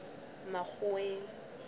makgoweng